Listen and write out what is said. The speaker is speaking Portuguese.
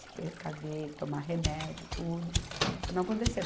se precaver, tomar remédio, tudo, para não acontecer.